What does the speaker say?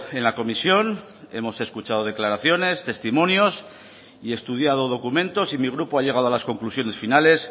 en la comisión hemos escuchado declaraciones testimonios y estudiado documentos y mi grupo ha llegado a las conclusiones finales